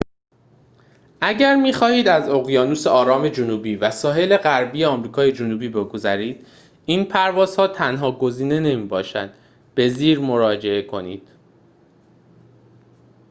اگر می‌خواهید از اقیانوس آرام جنوبی و ساحل غربی آمریکای جنوبی بگذرید، این پرواز تنها گزینه نمی‌باشد. به زیر مراجعه کنید